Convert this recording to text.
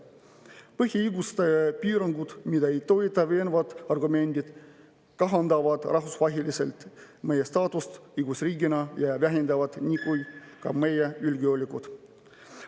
Põhiõiguste piirangud, mida ei toeta veenvad argumendid, kahandavad rahvusvaheliselt meie staatust õigusriigina ja vähendavad nii ka meie julgeolekut.